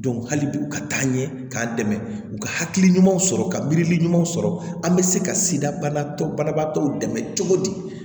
hali bi u ka taa ɲɛ k'an dɛmɛ u ka hakili ɲumanw sɔrɔ ka miiri ɲumanw sɔrɔ an bɛ se ka sida banabaatɔ dɛmɛ cogo di